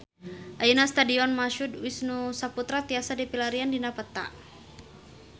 Ayeuna Stadion Mashud Wisnusaputra tiasa dipilarian dina peta